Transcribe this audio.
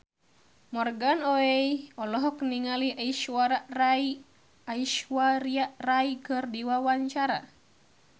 Morgan Oey olohok ningali Aishwarya Rai keur diwawancara